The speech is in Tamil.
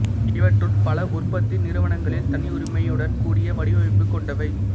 இவற்றுட் பல உற்பத்தி நிறுவனங்களின் தனியுரிமையுடன் கூடிய வடிவமைப்புக் கொண்டவை